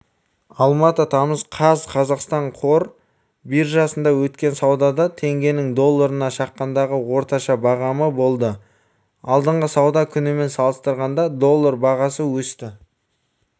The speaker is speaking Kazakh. алматы тамыз қаз қазақстан қор биржасында өткен саудада теңгенің долларына шаққандағы орташа бағамы болды алдыңғы сауда күнімен салыстырғанда доллар бағасы өсті